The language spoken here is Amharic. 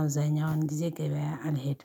አብዛኛውን ጊዜ ገበያ አልሄድም።